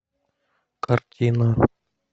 картина